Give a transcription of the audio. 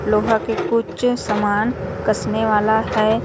लोहा के कुछ समान कसने वाला हैं।